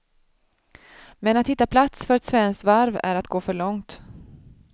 Men att där hitta plats för ett svenskt varv är att gå för långt.